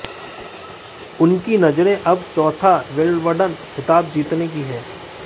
उनकी नजरें अब चौथा विंबलडन खिताब जीतने पर हैं